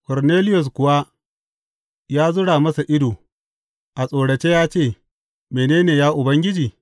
Korneliyus kuwa ya zura masa ido a tsorace ya ce, Mene ne, ya Ubangiji?